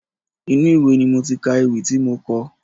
Inú ìwé ni mo ti ka ewì tí mo kọ.